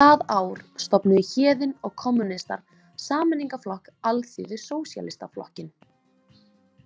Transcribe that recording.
Það ár stofnuðu Héðinn og kommúnistar Sameiningarflokk Alþýðu- Sósíalistaflokkinn.